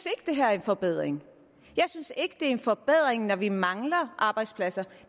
at det her er en forbedring jeg synes ikke det er en forbedring når vi mangler arbejdspladser